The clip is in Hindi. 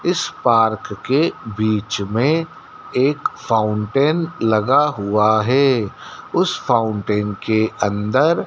इस पार्क के बीच में एक फाउंटेन लगा हुआ है उस फाउंटेन के अंदर--